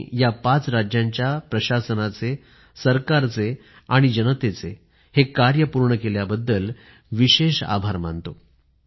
मी या पाच राज्यांच्या प्रशासनाचे सरकारचे आणि जनतेचे हे कार्य पूर्ण केल्याबद्दल विशेष आभार मानतो